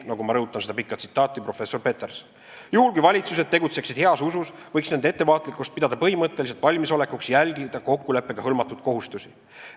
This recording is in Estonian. Juhul kui valitsused tegutseksid heas usus, võiks nende ettevaatlikkust pidada põhimõtteliselt valmisolekuks järgida kokkuleppega hõlmatud "kohustusi".